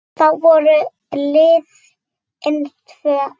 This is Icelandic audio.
Þá voru liðin tvö ár.